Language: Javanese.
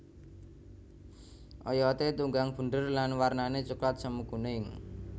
Oyoté tunggang bunder lan warnané coklat semu kuning